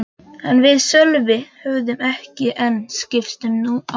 En við Sölvi höfðum ekki enn skipst á númerum.